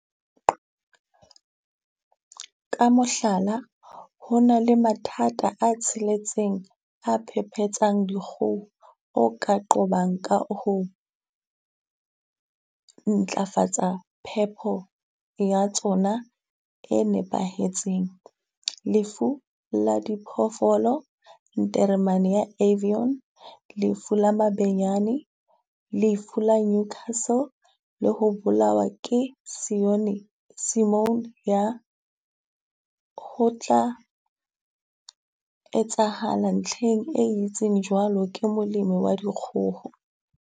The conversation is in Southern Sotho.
Ka mohlala, ho na le mathata a tsheletseng a phepetsang dikgoho o ka qobang ka ho ntlafatsa phepo ya tsona e nepahetseng. Lefu la Diphoofolo, nteremane ya avion, lefu la mabenyane, lefu la newcastle le ho bolawa ke sione, simone ya ho tla etsahala ntlheng e entseng jwalo ke molemo wa dikgoho.